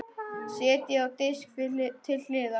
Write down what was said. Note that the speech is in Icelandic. Setjið á disk til hliðar.